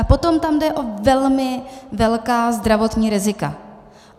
A potom tam jde o velmi velká zdravotní rizika.